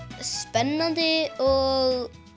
spennandi og